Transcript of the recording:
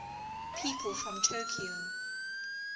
people from tokyo